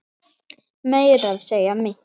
Meira að segja mitt